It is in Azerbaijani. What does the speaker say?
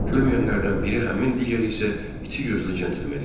Gülməyənlərdən biri həmin, digəri isə içi gözlü cəntlimen idi.